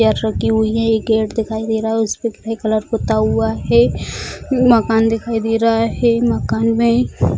chair रखी हुई है एक गेट दिखाई दे रहा है उस पे ग्रे कलर पुता हुआ है मकान दिखाई दे रहा है माकन में --